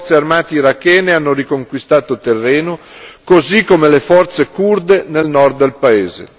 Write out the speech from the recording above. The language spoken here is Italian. Le forze armate irachene hanno riconquistato terreno, così come le forze curde nel Nord del paese.